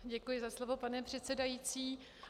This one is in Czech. Děkuji za slovo, pane předsedající.